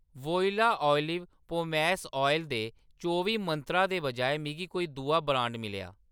Voila olive pomace oil दे चौबी मंत्रा दे बजाए मिगी कोई दूआ ब्रांड मिलेआ।